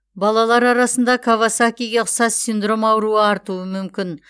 балалалар арасында кавасакиге ұқсас синдром ауруы артуы мүмкін